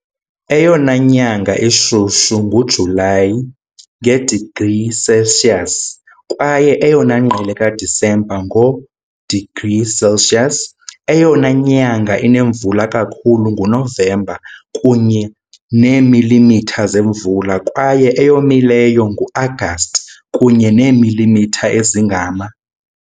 Eyona nyanga ishushu nguJulayi, nge- degrees Celsius, kwaye eyona ngqele kaDisemba, ngo- degrees Celsius. Eyona nyanga inemvula kakhulu nguNovemba, kunye neemilimitha zemvula, kwaye eyomileyo nguAgasti, kunye neemilimitha ezingama .